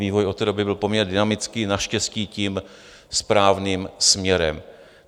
Vývoj od té doby byl poměrně dynamický, naštěstí tím správným směrem.